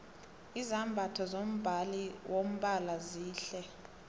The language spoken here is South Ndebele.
izambatho zombala wombhalo zihle